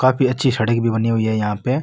काफी अच्छी सड़क भी बनी हुई है यहाँ पे।